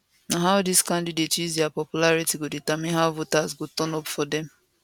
na how dis candidates use dia popularity go determine how voters go turn up for dem